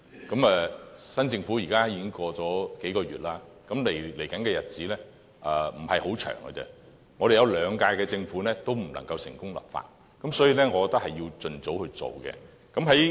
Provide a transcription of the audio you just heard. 現時新政府上任已過了數個月，未來的日子不是很長的，過去的兩屆政府也不能成功立法，所以我認為是要盡早進行的。